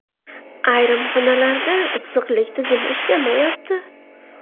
Ayrim xonalarda issiqlik tizimi ishlamayapti.